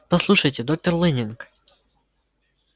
послушайте доктор лэннинг